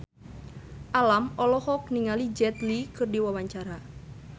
Alam olohok ningali Jet Li keur diwawancara